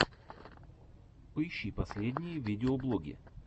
поищи последние видеоблоги